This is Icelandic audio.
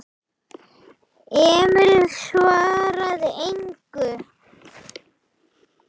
Emil svaraði engu.